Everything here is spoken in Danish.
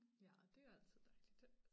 Ja og det jo altid dejligt